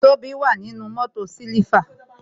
Tobi wà nínú mótò siliva